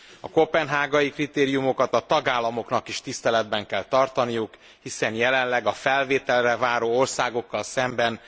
A koppenhágai kritériumokat a tagállamoknak is tiszteletben kell tartaniuk, hiszen jelenleg a felvételre váró országokkal szemben